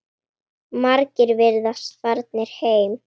Margir virðast farnir heim.